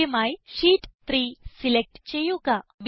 ആദ്യമായി sheet 3 select ചെയ്യുക